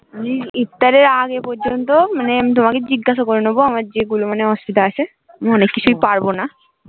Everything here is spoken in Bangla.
ইফতার এর আগে পর্যন্ত আমি মানে তোমাকে জিজ্ঞাসা করে নেবো যেগুলো অসুবিধা আছে আমি অনেক কিছু পারবো না